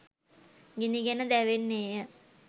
ගිනිගෙන දැවෙන්නේ ය.